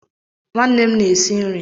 Nwannem na-esi nri